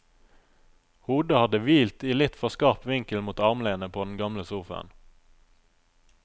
Hodet hadde hvilt i litt for skarp vinkel mot armlenet på den gamle sofaen.